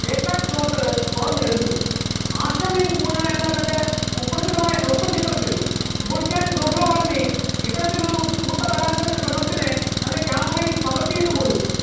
ഏക്കറ്റ് ഫ്‌ളോട്ടൻ തുറന്ന് എഴുതിയിരുന്നു, അശ്രമിൻ പൂനാ എന്ന തന്റെ കുപ്രസിദ്ധമായ ഹ്രസ്വ ചിത്രത്തിൽ മുൽഖാൻ ടോൽഘവർണി ഇത്തരത്തിലൊരു കൂട്ടബലാത്സംഗ ശ്രമത്തിനെ തന്റെ കാമറയിൽ പകർത്തിയിട്ടുപോലും ഉണ്ട്,